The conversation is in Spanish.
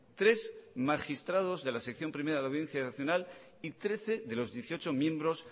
tres magistrados de la sección primera de la audiencia nacional y trece de los dieciocho miembros